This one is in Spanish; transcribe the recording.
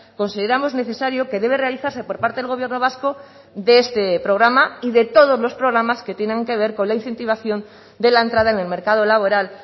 consideramos necesario que debe realizarse por parte del gobierno vasco de este programa y de todos los programas que tienen que ver con la incentivación de la entrada en el mercado laboral